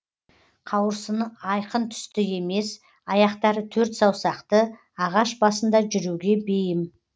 қауырсыны айқын түсті емес аяқтары төрт саусақты ағаш басында жүруге бейім